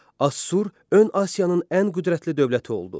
Assur ön Asiyanın ən qüdrətli dövləti oldu.